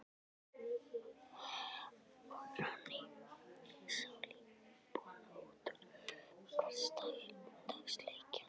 Og rann í salíbunu út úr hversdagsleikanum.